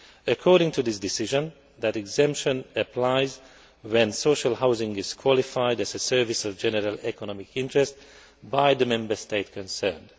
According to this decision, that exemption applies when social housing is qualified as a service of general economic interest by the Member State concerned.